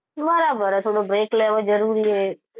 બરાબર હ થોડો break લેવો જરૂરી હ.